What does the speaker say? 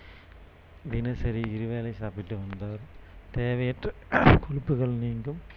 தினசரி இருவேளை சாப்பிட்டு வந்தால் தேவையற்ற கொழுப்புகள் நீங்கும்